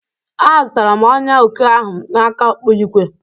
A zụtara m ọnyà oke ahụ n'aka ọkpụigwe